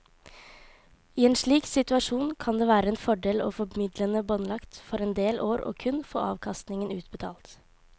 I en slik situasjon kan det være en fordel å få midlene båndlagt for en del år og kun få avkastningen utbetalt.